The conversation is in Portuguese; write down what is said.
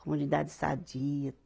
Comunidade sadia.